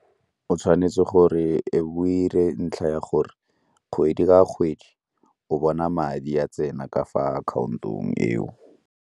O tshwanetse gore e be o 'ire ntlha ya gore kgwedi ka kgwedi o bona madi a tsena ka fa account-ong eo.